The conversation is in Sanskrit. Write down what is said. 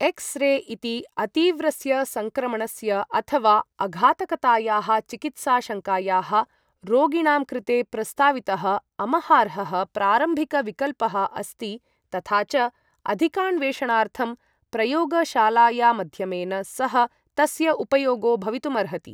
एक्स् रे इति अतीव्रस्य सङ्क्रमणस्य अथ वा अघातकतायाः चिकित्साशङ्कायाः रोगिणां कृते प्रस्तावितः अमहार्हः प्रारम्भिकविकल्पः अस्ति तथा च अधिकान्वेषणार्थं प्रयोगशालायामध्यमेन सह तस्य उपयोगो भवितुमर्हति।